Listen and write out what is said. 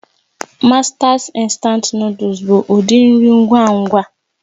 Masters Instant Nụ́dúls bụ ụdị nri ngwa ngwa